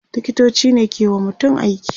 liktoci ne ke wa mutum aiki